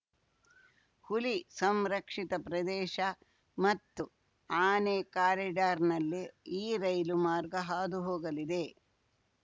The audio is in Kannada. ಹುಲಿ ಸಂರಕ್ಷಿತ ಪ್ರದೇಶ ಮತ್ತು ಆನೆ ಕಾರಿಡಾರ್‌ನಲ್ಲಿ ಈ ರೈಲು ಮಾರ್ಗ ಹಾದು ಹೋಗಲಿದೆ